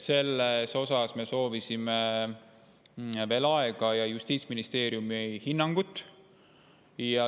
Selleks me soovisime veel aega ja Justiitsministeeriumi hinnangut.